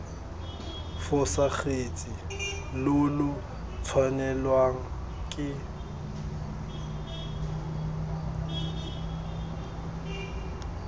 fosagatse lo lo tshwanelwang ke